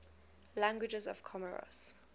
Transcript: languages of comoros